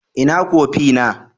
Ina kofi na?